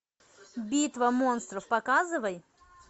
битва монстров показывай